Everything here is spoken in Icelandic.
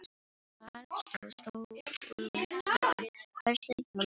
Þar stóð stórum stöfum: Verslið hjá Lúlla.